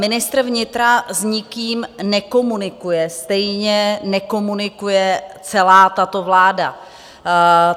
Ministr vnitra s nikým nekomunikuje, stejně nekomunikuje celá tato vláda.